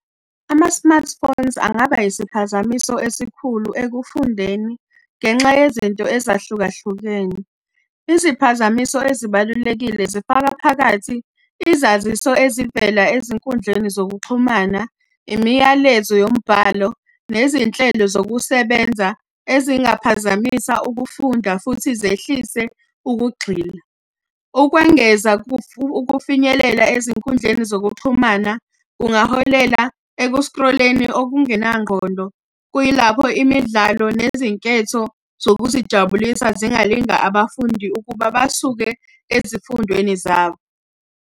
Ama-smartphones angaba isiphazamiso esikhulu ekufundeni ngenxa yezinto ezahlukahlukene. Iziphazamiso ezibalulekile zifaka phakathi izaziso ezivela ezinkundleni zokuxhumana, imiyalezo yombhalo, nezinhlelo zokusebenza ezingaphazamisa ukufunda futhi zehlise ukugxila. Ukwengeza ukufinyelela ezinkundleni zokuxhumana kungaholela ekuskroleni okungenangqondo. Kuyilapho imidlalo nezinketho zokuzijabulisa zingalinga abafundi ukuba basuke ezifundweni zabo.